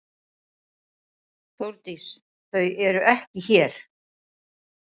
Þórdís: Þau eru ekki hér.